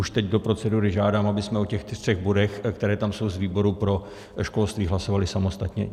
Už teď do procedury žádám, abychom o těch třech bodech, které tam jsou z výboru pro školství, hlasovali samostatně.